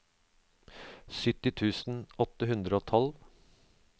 sytti tusen åtte hundre og tolv